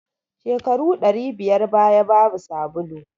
Shekaru ɗari biyar baya babu sabulu